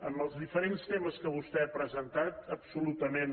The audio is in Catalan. en els diferents temes que vostè ha presentat absolutament